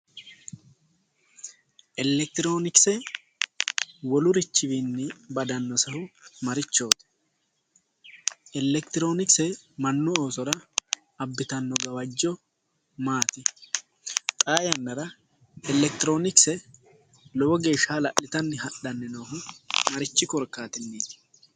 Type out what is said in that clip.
Elekitironokise wolurichiwinni badanosehu marichoti ,elekitironokise mannu oosora abbittano gawajo maati, xaa yannara elekitironokise lowo geeshsha hala'littanni hadhanni noohu marichi korkaatinniti